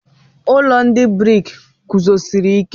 Ụlọ ndị briki guzosiri ike.